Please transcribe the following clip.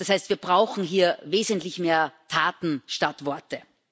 Das heißt, wir brauchen hier wesentlich mehr Taten statt Worte.